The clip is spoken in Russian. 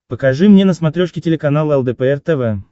покажи мне на смотрешке телеканал лдпр тв